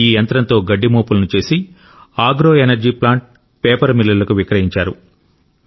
ఈ యంత్రంతో గడ్డి మోపులను చేసి అగ్రో ఎనర్జీ ప్లాంట్ పేపర్ మిల్లులకు విక్రయించారు